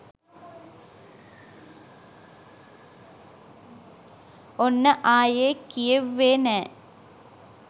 ඔන්න ආයේ කියෙව්වේ නෑ.